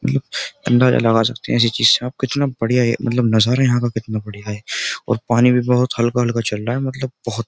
मतलब अंदाजा लगा सकते हैं ऐसी चीज से आप कितना बढ़िया ये मतलब नजारा यहां का कितना बढ़िया है और पानी भी बहुत हल्का-हल्का चल रहा है मतलब बहुत --